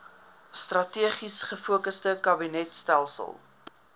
strategies gefokusde kabinetstelsel